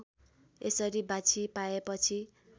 यसरी बाछी पाएपछि